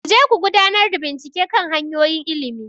Ku je ku gudanar da bincike kan hanyoyin ilimi,